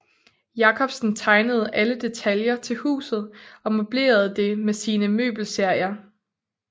Jacobsen tegnede alle deltaljer til huset og møblerede det med sine møbelserier